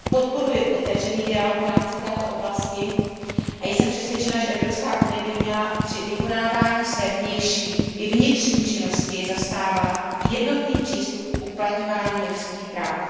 Podporuje otevřený dialog v rámci této oblasti a jsem přesvědčena, že Evropská unie by měla při vykonávání své vnější i vnitřní činnosti zastávat jednotný přístup k uplatňování lidských práv.